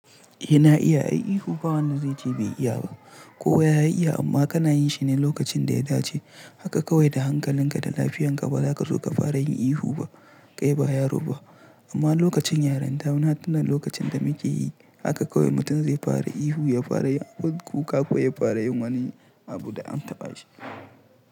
Eh na iya, ai ihu ba wanda zai ce bai iya ba. Kowa ya iya amma kana yin shi ne lokacin da ya dace. Haka kawai da hankalinka da lafiyarka ba za ka zo ka fara yin ihu ba. Kai ba yaro ba amma lokacin yarinta wani hatunan lokacin da muke yi haka kawai mutum zai fara ihu ya fara yin kuka ko ya fara yin wani abu da an taɓa shi.